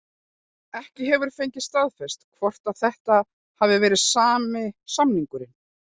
Ekki hefur fengist staðfest hvort að þetta hafi verið sami samningurinn.